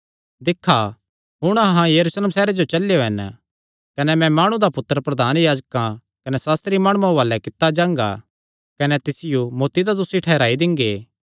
दिक्खा हुण अहां यरूशलेम सैहरे जो चलेयो हन कने मैं माणु दा पुत्तर प्रधान याजकां कने सास्त्री माणुआं हुआलैं कित्ता जांगा कने तिसियो मौत्ती दा दोसी ठैहराई दिंगे